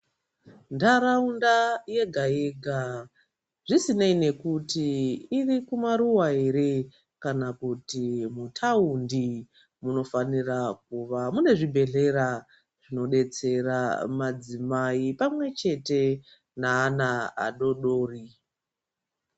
Nharaunda yega yega zvisinei nekuti iri kumaruwa ere kana kuti muthaundi munofanira kuva mine zvibhedhlera zvinodetsera madzimai pamwechete naana adoodori.